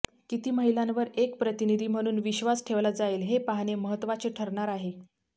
किती महिलांवर एक प्रतिनिधी म्हणून विश्वास ठेवला जाईल हे पाहणे महत्त्वाचे ठरणार आहे